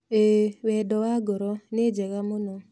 ĩĩ, "Wendo wa Ngoro" nĩ njega mũno.